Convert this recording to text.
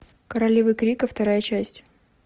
королева крика вторая часть